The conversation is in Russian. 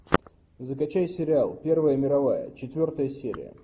закачай сериал первая мировая четвертая серия